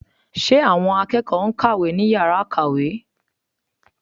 Ṣe àwọn akẹ́kọ̀ọ́ ń kàwé ní yàrá ìkàwé?